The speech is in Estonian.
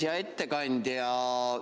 Hea ettekandja!